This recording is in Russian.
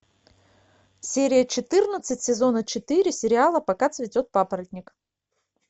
серия четырнадцать сезона четыре сериала пока цветет папоротник